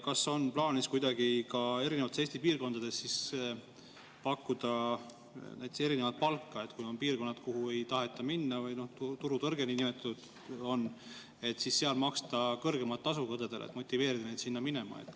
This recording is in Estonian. Kas on plaanis ka erinevates Eesti piirkondades pakkuda näiteks erinevat palka, kui on piirkonnad, kuhu ei taheta minna või kus on niinimetatud turutõrge, et siis seal maksta kõrgemat tasu õdedele, et motiveerida neid sinna minema?